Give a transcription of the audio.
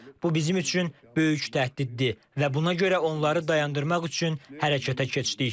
Bu bizim üçün böyük təhdiddir və buna görə onları dayandırmaq üçün hərəkətə keçdik.